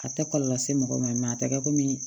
A tɛ kɔlɔlɔ lase mɔgɔ ma a tɛ kɛ komi